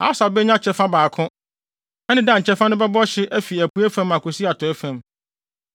Aser benya kyɛfa baako; ɛne Dan kyɛfa no bɛbɔ hye afi apuei fam akosi atɔe fam.